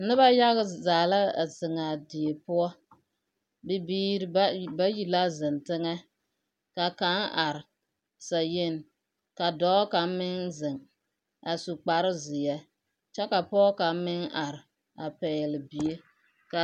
Noba yaga zaa la a zeŋaa die poɔ. Bibiiri bayi la zeŋ teŋɛ, ka kaŋ are sayeni, ka dɔɔ kaŋ meŋ zeŋ a su kpare zeɛ, kyɛ ka pɔge kaŋ meŋ are, a pɛgele bie. Ka…